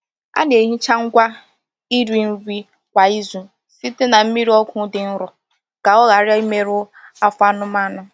A na-ehicha ngwa iri nri kwa izu site na mmiri ọgwụ dị nro ka ọ ghara imerụ afọ anụmanụ.